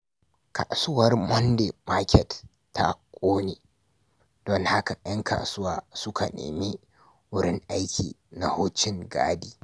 Kasuwar Monday Market ta ƙone, don haka 'yan kasuwa suka nemi wurin aiki na wucin gadi.